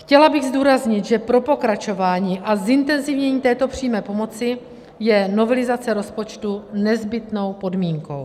Chtěla bych zdůraznit, že pro pokračování a zintenzivnění této přímé pomoci je novelizace rozpočtu nezbytnou podmínkou.